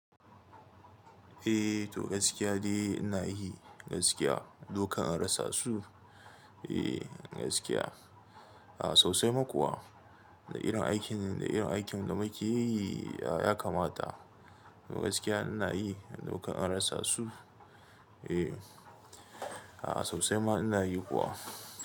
Eh to gaskiya ne ina yi gaskiya. Dokan an rasa su, eh gaskiya. A sosai ma kuwa. Da irin aikin da irin aikin da muke yi ya kamata. To gaskiya ina yi dokan an rasa su. Eh, a sosai ma ina yi kuwa.